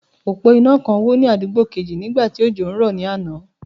Òpó iná kan wó ní àdúgbò kejì nígbà tí òjò ń rọ̀ ní àná.